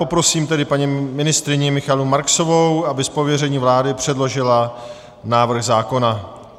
Poprosím tedy paní ministryni Michaelu Marksovou, aby z pověření vlády předložila návrh zákona.